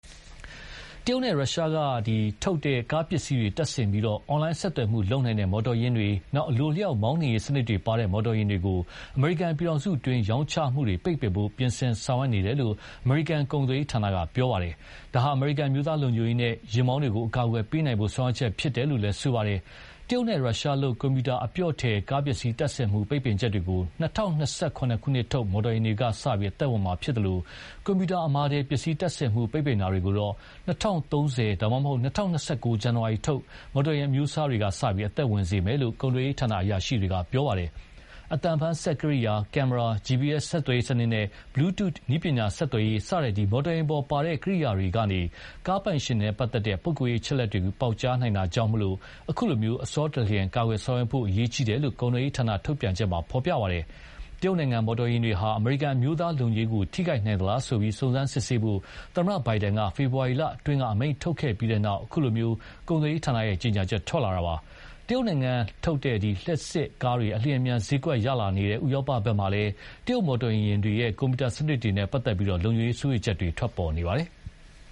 တရုတ်နဲ့ ရုရှားထုတ် ကားပစ္စည်းတွေတပ်ဆင်တဲ့ အွန်လိုင်းဆက်သွယ်မှုလုပ်နိုင်တဲ့ မော်တော်ယာဉ်တွေ၊ အလိုအလျှောက် မောင်းနှင်စနစ်တွေ ပါဝင်တဲ့ မော်တော်ယာဉ်တွေကို အမေရိကန်ပြည်ထောင်စုတွင်း ရောင်းချမှုတွေ ပိတ်ပင်ဖို့ ပြင်ဆင်ဆောင်ရွက်နေတယ်လို့ အမေရိကန် ကုန်သွယ်ရေးဌာနက ပြောပါတယ်။ ဒါဟာ အမေရိကန်အမျိုးသားလုံခြုံရေးနဲ့ ယာဉ်မောင်းတွေကို အကာအကွယ်ပေးနိုင်ဖို့ ဆောင်ရွက်ချက်ဖြစ်တယ်လို့ ဆိုပါတယ်။ တရုတ်နဲ့ ရုရှားလုပ် ကွန်ပြူတာအပျော့ထည် ကားပစ္စည်းတပ်ဆင်မှု ပိတ်ပင်ချက်တွေကို ၂၀၂၇ ခုနှစ်ထုတ် မော်တော်ယာဉ်တွေမှာ စပြီး အသက်ဝင်မှာဖြစ်သလို ကွန်ပြူတာအမာထည်ပစ္စည်းတပ်ဆင်ထားမှု ပိတ်ပင်တာတွေကိုတော့ ၂၀၃၀ ဒါမှမဟုတ် ၂၀၂၉ ဇန်နဝါရီထုတ် မော်တော်ယာဉ်အမျိုးအစားတွေကစပြီး အသက်ဝင်စေမယ်လို့ ကုန်သွယ်ရးဌာနအရာရှိတွေက ပြောပါတယ်။ အသံဖမ်းစက်ကိရိယာ၊ ကင်မရာ၊ GPS ဆက်သွယ်ရေးနစ်စနဲ့ Bluetooth နည်းပညာ ဆက်သွယ်ရေးစတဲ့ မော်တော်ယာဉ်ပေါ်ပါတဲ့ ကိရိယာတွေကနေ ကားပိုင်ရှင်နဲ့ပတ်သက်လို့ ပုဂ္ဂိုလ်ရေးအချက်အလက်တွေကို ပေါက်ကြားနိုင်တာကြောင့် အခုလို အဆောတလျင် ကာကွယ်ဆောင်ရွက်ဖို့ အရေးကြီးတယ်လို့ ကုန်သွယ်ရေးဌာန ထုတ်ပြန်ချက်မှာဖော်ပြပါတယ်။ တရုတ်နိုင်ငံလုပ်မော်တော်ယာဉ်တွေဟာ အမေရိကန်အမျိုးသားလုံခြုံရေးကိုထိခိုက်နိုင်သလားဆိုပြီး စုံစမ်းစစ်ဆေးဖို့ သမ္မတ Biden က ဖေဖော်ဝါရီလအတွင်းက အမိန့်ထုတ်ခဲ့ပြီးနောက် အခုလို ကုန်သွယ်ရေးဌာနရဲ့ကြေညာချက်ထွက်လာတာပါ။ တရုတ်နိုင်ငံလုပ်လျှပ်စစ်ကားတွေ အလျင်အမြန်ဈေးကွက်ရလာနေတဲ့ ဥရောပဘက်မှာလည်း တရုတ်မော်တော်ယာဉ်တွေရဲ့ ကွန်ပြူတာစနစ်တွေနဲ့ပတ်သက်လို့ လုံခြုံရေးစိုးရိမ်ချက်တွေ ထွက်ပေါ်နေပါတယ်။